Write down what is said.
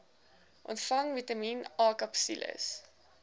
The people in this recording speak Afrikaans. ontvang vitamien akapsules